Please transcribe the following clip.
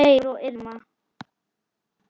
Geir og Irma.